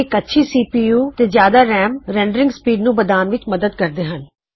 ਇਕ ਤੇਜ਼ ਸੀਪੀਯੂ ਅਤੇ ਜਿਆਦਾ ਰੈਮ ਰੈਂਡਰਿਗ ਸਪੀਡ ਵਿਚ ਮਦਦ ਕਰਦੇ ਹਨ